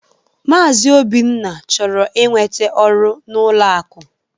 Maazi Obinna chọrọ inwete ọru n'ụlọ akụ